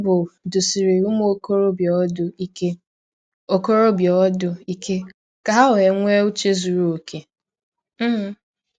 Baịbụl dụsiri “ ụmụ ọkọrọbịa ọdụ ike ọkọrọbịa ọdụ ike ka ha nwee ụche zụrụ ọkè. um ”